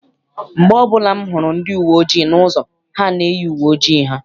Mgbe ọbụla m hụrụ ndi uwe ojii n'ụzọ, ha na-eyi uwe ojii ha.